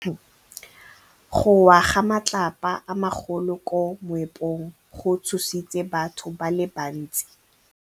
Go wa ga matlapa a magolo ko moepong go tshositse batho ba le bantsi.